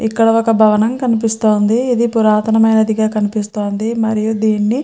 ఇది ఒక భవనం కనిపిస్తుంది ఇది పురాతనం అయినదిగా కనిపిస్తుంది. మరియు దీనిని --